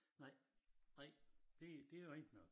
Nej nej det det rigitg nok